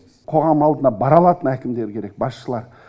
қоғам алдына бара алатын әкімдер керек басшылар